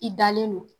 I dalen don